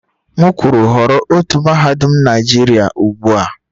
M kwuru họrọ otu mahadum Naijiria ugbua!